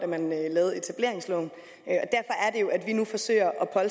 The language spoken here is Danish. man lavede etableringsloven og at vi nu forsøger at